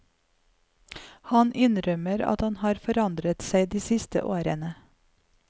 Han innrømmer at han har forandret seg de siste årene.